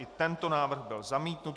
I tento návrh byl zamítnut.